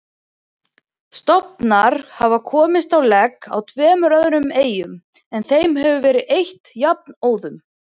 Stofnar hafa komist á legg á tveimur öðrum eyjum en þeim hefur verið eytt jafnóðum.